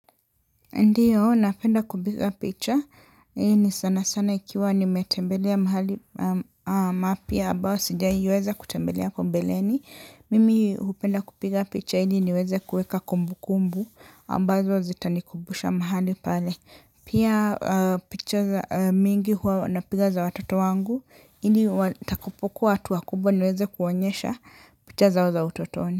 Ndio, napenda kupiga picha, hii ni sana sana ikiwa nimetembelea mahali mapya ambao sijawahi weza kutembelea hapo mbeleni. Mimi hupenda kupiga picha ili niweze kuweka kumbu kumbu, ambazo zitanikumbusha mahali pale. Pia picha mingi huwa napiga za watoto wangu, ili watakupokuwa watu wakubwa niweze kuwaonyesha picha zao za utotoni.